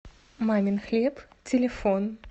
мамин хлеб телефон